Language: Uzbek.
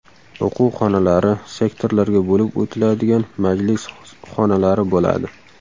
O‘quv xonalari, sektorlarga bo‘lib o‘tiladigan majlis xonalari bo‘ladi.